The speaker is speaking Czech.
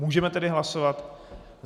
Můžeme tedy hlasovat.